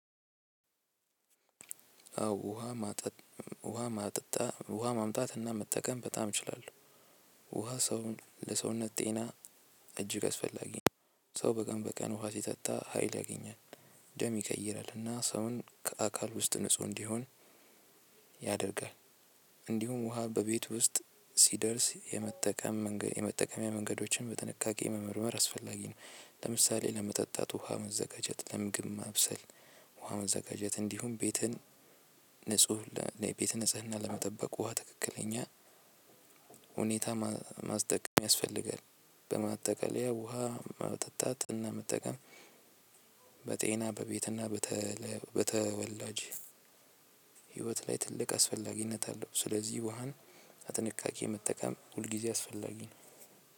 አዎ ውሃ ማጠጥ ውሃ ማጠጣ ውሃ ማምጣት እና መጠቀም በጣም እችላለሁ። ውሃ ሰውን ለሰውነት ጤና። እጅግ አስፈላጊ ነው ሰው በቀን በቀን ውሃ ሲጠጣ ሀይል ያገኛል። ደም ይቀይራልና ሰውን ከአካል ውስጥ ንጹህ እንዲሆን ያደርጋል። እንዲሁም ውሃ በቤት ውስጥ ሲደርስ የመጠቀም የመጠቀሚያ መንገዶችን በጥንቃቄ መመርመር አስፈላጊ ነው። ለምሳሌ ለመጠጣት ውሃ መዘጋጀት ለምግብ ማብሰል ውሃ መዘጋጀት እንዲሁም ቤትን ንጹህ ቤትን ንጽህና ለመጠበቅ ውሃ ትክክለኛ ሁኔታ ማስጠቀም ያስፈልጋል። በማጠቃለያ ውሃ መጠጣት እና መጠቀም በቤትና በተወላጅ ህይወት ላይ ትልቅ አስፈላጊነት አለው። ስለዚህ ውሃን በጥንቃቂ መጠቀም ሁልጊዜ አስፈላጊ ነው።